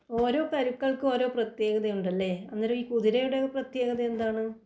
ഓരോ കരുക്കൾക്കും ഓരോ പ്രത്യേകതയുണ്ടല്ലേ അന്നേരം ഈ കുതിരയുടെ പ്രത്യേകത എന്താണ്?